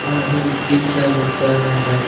और अभी भी तीन -चार लोग कर रहै है बैठे --